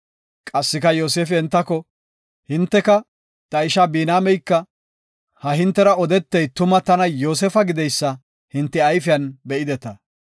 Qassika Yoosefi entako, “Hinteka, ta ishaa Biniyaameyka, ha hintera odetey tuma tana Yoosefa gideysa hinte ayfiyan be7ideta.